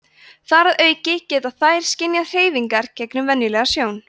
þar að auki geta þær skynjað hreyfingar gegnum venjulega sjón